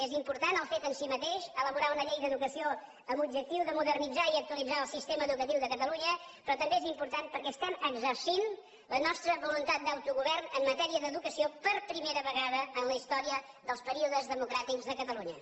és important el fet en si mateix elaborar una llei d’educació amb l’objectiu de modernitzar i actualitzar el sistema educatiu de catalunya però també és important perquè estem exercint la nostra voluntat d’autogovern en matèria d’educació per primera vegada en la història dels períodes democràtics de catalunya